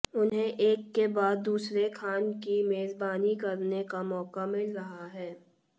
उन्हें एक के बाद दूसरे खान की मेजबानी करने का मौका मिल रहा है